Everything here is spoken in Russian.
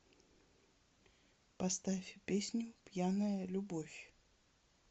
поставь песню пьяная любовь